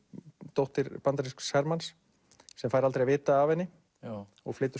dóttir bandarísks hermanns sem fær aldrei að vita af henni og flytur